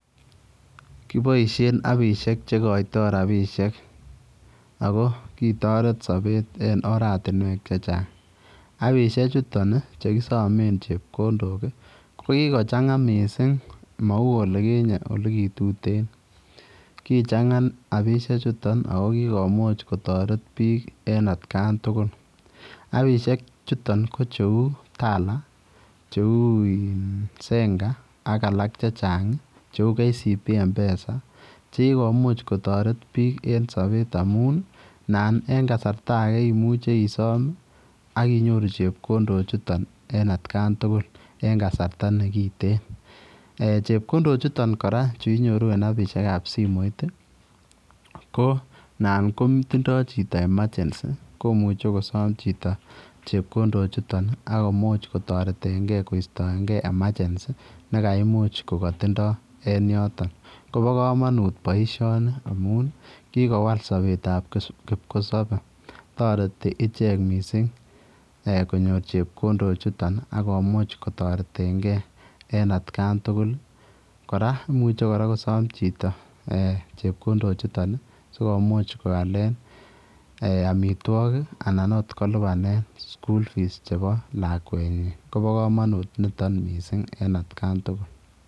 Koboisien appisiek chekoitoo rapisiek ako kitoret sobet en oratinwek chechang. Appisiek chuton ih chekisomen chepkondok ih kokikochang'a missing mou olikinyet olikituten. Kichang'a appisiek chuton ako kikomich kotoret biik en atkan tugul. Appisiek chuton ko cheu Tala cheu in Zenka ak alak chechang ih cheu KCB Mpesa chekikomuch kotoret biik en sobet amun ih nan en kasarta age imuche isom ih ak inyoru chepkondok chuton en atkan tugul en kasarta nekiten. Chepkondok chuton kora chuinyoru en appisiek ab simoit ih ko nan kotindoo chito emergency komuche kosom chito chepkondok chuton ih akomuch kotoretengee kostoengee emergency nekaimuch kokotindoo en yoton. Kobo komonut boisioni amun kikowal sobetab kipkosobe toreti ichek missing konyor chepkondok chuton akomuch kotoretengee en atkan tugul. Kora imuche kora kosom chito chepkondok chuton ih sikomuch koalen amitwogik anan ot kolipanen school fees chebo lakwet nyin kobo komonut niton missing en atkan tugul